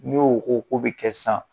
N''o ko ko bi kɛ sisan.